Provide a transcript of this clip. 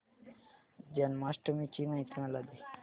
जन्माष्टमी ची माहिती मला दे